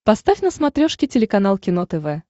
поставь на смотрешке телеканал кино тв